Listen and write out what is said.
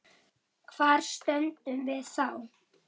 Hvar stöndum við þá?